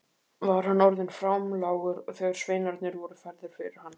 Var hann orðinn framlágur þegar sveinarnir voru færðir fyrir hann.